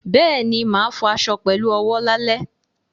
Bẹ́ẹ̀ni, mo ma fọ aṣọ fọ aṣọ pẹ̀lú owó lálẹ́